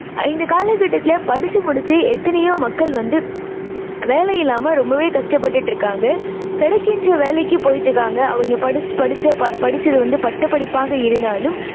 இந்தக் காலக்கட்டத்துல படிச்சு முடிச்சு எத்தனையோ மக்கள் வந்து வேலை இல்லாம ரொம்பவே கஷ்டப்பட்டுட்டு இருக்காங்க. கிடைக்கின்ற வேலைக்கு போயிட்டு இருக்காங்க. அவங்க படிச்~படிச்ச படிச்சது வந்து பட்டப் படிப்பாக இருந்தாலும்